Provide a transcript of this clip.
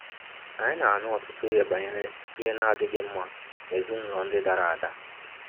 Anyị na-anụ ọtụtụ ihe banyere ihe na-adịghị mma n'ezinụlọ ndị dara ada.